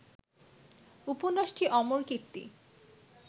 উপন্যাসটি অমর কীর্তি